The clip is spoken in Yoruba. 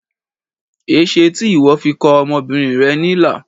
Ẽṣe ti iwọ fi kọ ọmọbinrin rẹ nilà?